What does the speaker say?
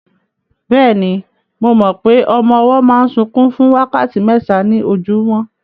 Bẹ́ẹ̀ni, mo mọ pé ọmọ ọwọ́ máa ń sunkún fún wákàtí mẹ́ta ní ojúmọ́